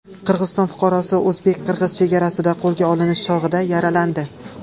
Qirg‘iziston fuqarosi o‘zbek-qirg‘iz chegarasida qo‘lga olinish chog‘ida yaralandi.